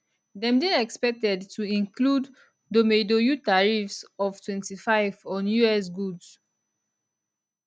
dem dey expected to include domeidoyou tariffs of 25 on us goods